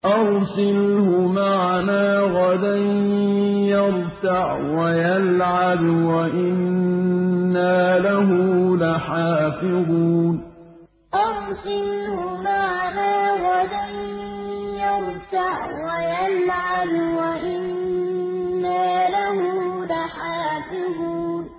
أَرْسِلْهُ مَعَنَا غَدًا يَرْتَعْ وَيَلْعَبْ وَإِنَّا لَهُ لَحَافِظُونَ أَرْسِلْهُ مَعَنَا غَدًا يَرْتَعْ وَيَلْعَبْ وَإِنَّا لَهُ لَحَافِظُونَ